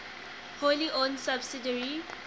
wholly owned subsidiary